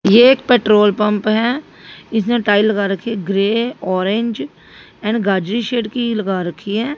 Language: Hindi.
ये एक पेट्रोल पंप हैं इसने टाइल लगा रखी है ग्रे ऑरेंज एंड गाजरी सेट की लगा रखी हैं।